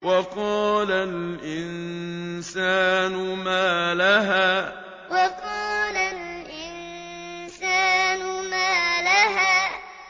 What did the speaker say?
وَقَالَ الْإِنسَانُ مَا لَهَا وَقَالَ الْإِنسَانُ مَا لَهَا